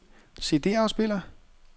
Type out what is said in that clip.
CD-afspiller